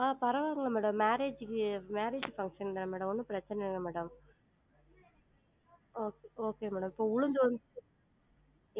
ஆஹ் பரவா இல்லங்க madam, marriage க்கு marriage function தான் madam ஒன்னும் பிரச்சன இல்ல madam okay okay madam இப்ப உளுந்து வந்து